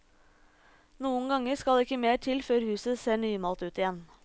Noen ganger skal ikke mer til før huset ser nymalt ut igjen.